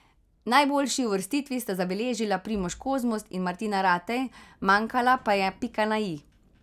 Najboljši uvrstitvi sta zabeležila Primož Kozmus in Martina Ratej, manjkala pa je pika na i.